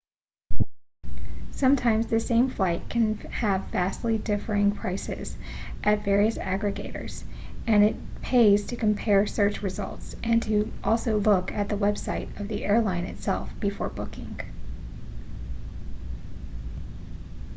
sometimes the same flight can have vastly differing prices at various agregators and it pays to compare search results and to also look at the website of the airline itself before booking